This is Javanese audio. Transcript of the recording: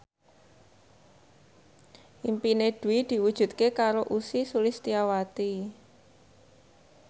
impine Dwi diwujudke karo Ussy Sulistyawati